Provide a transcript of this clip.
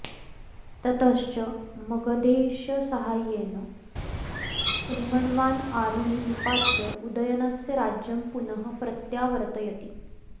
ततश्च मगधेशसाहाय्येन रूमण्वान् आरुणि निपात्य उदयनस्य राज्यं पुनः प्रत्यावर्तयति